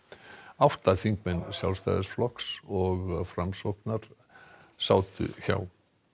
átta þingmenn Sjálfstæðisflokks og Framsóknar sátu hjá